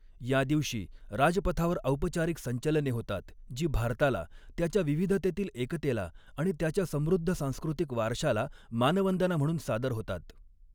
या दिवशी राजपथावर औपचारिक संचलने होतात, जी भारताला, त्याच्या विविधतेतील एकतेला आणि त्याच्या समृद्ध सांस्कृतिक वारशाला मानवंदना म्हणून सादर होतात.